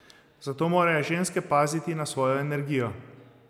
Zato morajo ženske paziti na svojo energijo.